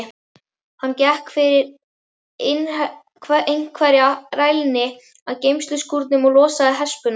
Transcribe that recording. Hann gekk fyrir einhverja rælni að geymsluskúrnum og losaði hespuna.